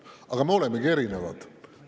Aga me olemegi erinevad.